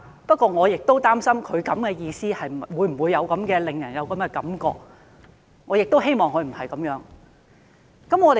不過，我亦正是擔心他的做法會否令人有這種感覺，我很希望他不是有這樣的意思。